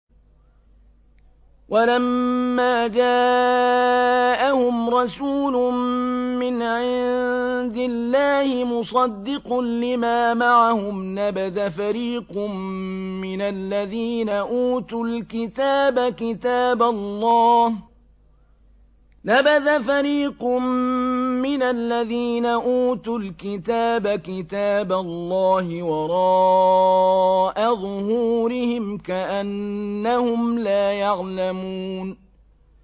وَلَمَّا جَاءَهُمْ رَسُولٌ مِّنْ عِندِ اللَّهِ مُصَدِّقٌ لِّمَا مَعَهُمْ نَبَذَ فَرِيقٌ مِّنَ الَّذِينَ أُوتُوا الْكِتَابَ كِتَابَ اللَّهِ وَرَاءَ ظُهُورِهِمْ كَأَنَّهُمْ لَا يَعْلَمُونَ